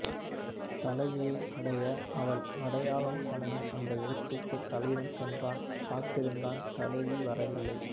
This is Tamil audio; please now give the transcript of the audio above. தலைவியை அடைய அவள் அடையாளம் சொன்ன அந்த இடத்துக்குத் தலைவன் சென்றான் காத்திருந்தான் தலைவி வரவில்லை